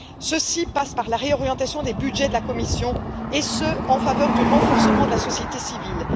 Ceci passe par la réorientation des budgets de la Commission, et ce en faveur du renforcement de la société civile.